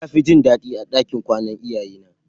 Nafi jin dadi a ɗakin kwana iyaye na.